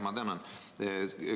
Ma tänan!